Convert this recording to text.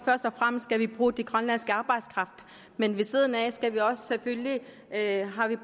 først og fremmest bruge den grønlandske arbejdskraft men ved siden af har vi